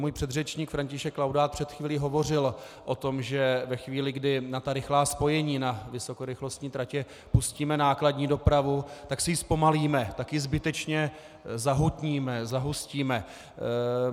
Můj předřečník František Laudát před chvílí hovořil o tom, že ve chvíli, kdy na ta rychlá spojení, na vysokorychlostní tratě pustíme nákladní dopravu, tak si ji zpomalíme, tak ji zbytečně zahutníme, zahustíme.